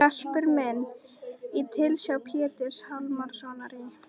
Garpur minn var í tilsjá Péturs Hjálmssonar í